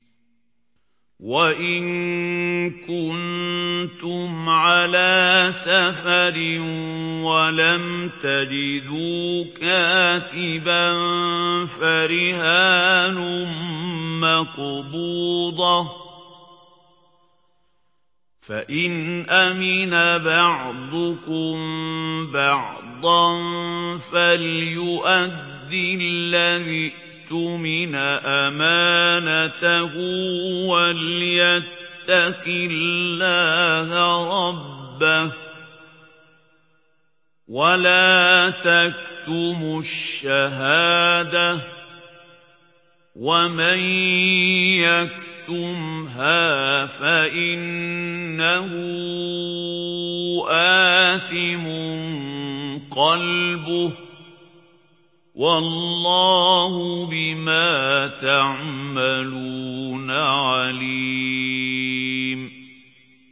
۞ وَإِن كُنتُمْ عَلَىٰ سَفَرٍ وَلَمْ تَجِدُوا كَاتِبًا فَرِهَانٌ مَّقْبُوضَةٌ ۖ فَإِنْ أَمِنَ بَعْضُكُم بَعْضًا فَلْيُؤَدِّ الَّذِي اؤْتُمِنَ أَمَانَتَهُ وَلْيَتَّقِ اللَّهَ رَبَّهُ ۗ وَلَا تَكْتُمُوا الشَّهَادَةَ ۚ وَمَن يَكْتُمْهَا فَإِنَّهُ آثِمٌ قَلْبُهُ ۗ وَاللَّهُ بِمَا تَعْمَلُونَ عَلِيمٌ